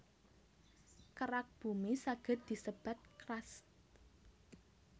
Kerak Bumi saged disebat crust